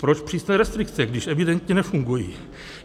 Proč přísné restrikce, když evidentně nefungují?